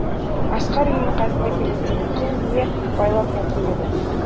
асқар үйінің қасына келгенде бикен бие байлап жатыр еді